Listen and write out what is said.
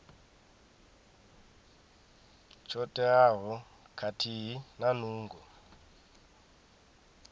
tsho teaho khathihi na nungo